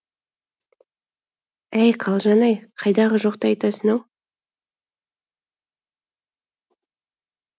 әй қалжан ай қайдағы жоқты айтасың ау